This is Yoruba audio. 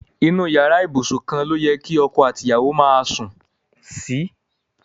Inu iyara ibusun kan lo ye ki oko ati iyawo maa sun si